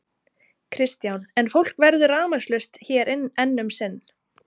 Kristján: En fólk verður rafmagnslaust hér enn um sinn?